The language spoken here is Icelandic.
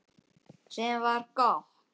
Sem var gott.